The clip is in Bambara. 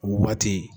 O waati